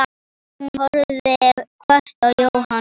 Hún horfði hvasst á Jóhann.